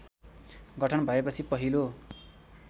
गठन भएपछि पहिलो